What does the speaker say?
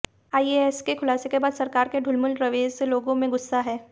IAC के खुलासे के बाद सरकार के ढुलमुल रवैये से लोगों में गुस्सा है